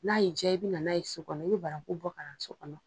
N'a y'a diya i bɛ nana n'a ye so kɔnɔ. I bɛ banaku bɔ ka na so kɔnɔ.